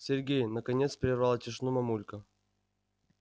сергей наконец прервала тишину мамулька